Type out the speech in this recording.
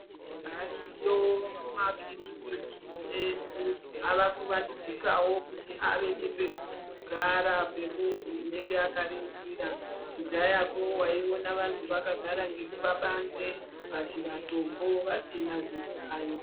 Ariyo makiriniki edu ava kuwandudzikawo kuti ave nepekugara pemuntu anenge akarindira kudhayako waiona antu vakagara nepabanze pazvitombo vasina zvihlayo.